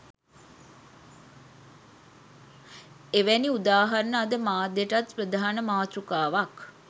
එවැනි උදාහරණ අද මාධ්‍යයටත් ප්‍රධාන මාතෘකාවක්.